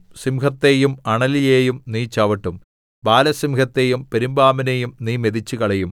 സിംഹത്തെയും അണലിയെയും നീ ചവിട്ടും ബാലസിംഹത്തെയും പെരുമ്പാമ്പിനെയും നീ മെതിച്ചുകളയും